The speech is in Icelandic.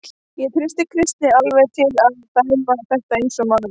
Ég treysti Kristni alveg til að dæma þetta eins og maður.